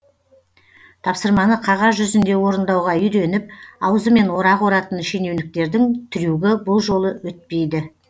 тапсырманы қағаз жүзінде орындауға үйреніп аузымен орақ оратын шенеуніктердің трюгі бұл жолы өтпейді